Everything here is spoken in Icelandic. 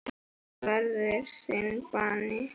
Það verður þinn bani.